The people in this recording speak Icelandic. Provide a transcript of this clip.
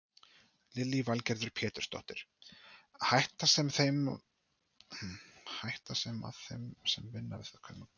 Lillý Valgerður Pétursdóttir: Hætta sem að þeim sem að vinna við þetta stafar af því?